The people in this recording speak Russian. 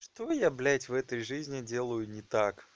что я блядь в этой жизни делаю не так